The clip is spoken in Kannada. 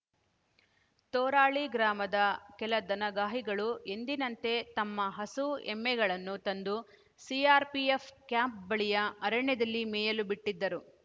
ತೋರಾಳಿ ಗ್ರಾಮದ ಕೆಲ ದನಗಾಹಿಗಳು ಎಂದಿನಂತೆ ತಮ್ಮ ಹಸು ಎಮ್ಮೆಗಳನ್ನು ತಂದು ಸಿಆರ್‌ಪಿಎಫ್‌ ಕ್ಯಾಂಪ್‌ ಬಳಿಯ ಅರಣ್ಯದಲ್ಲಿ ಮೇಯಲು ಬಿಟ್ಟಿದ್ದರು